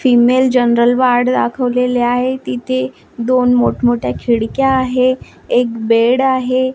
Female general ward दाखवलेले आहे तिथे दोन मोठमोठ्या खिडक्या आहे एक बेड आहे.